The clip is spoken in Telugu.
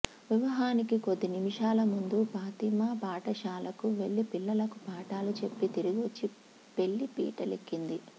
వివహానికి కొద్ది నిమిషాల ముందు ఫాతిమా పాఠశాలకు వెళ్లి పిల్లలకు పాఠాలు చెప్పి తిరిగొచ్చి పెళ్లిపీటలెక్కింది